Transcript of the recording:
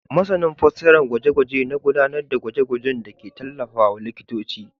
Masanin fasarar gwaje-gwaje na gudanar da gwaje-gwajenda ke tallafawa likitoci.